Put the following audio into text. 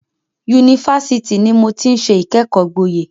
Yunifásitì ni mo ti ń ṣe ìkẹ́kọ̀ọ́ gboyè.